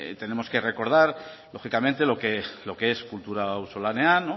tenemos que recodar lógicamente lo que es kultura auzolanean